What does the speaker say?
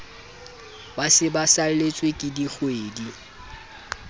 ba se ba saletsweke dikgwedi